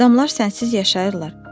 Adamlar sənsiz yaşayırlar.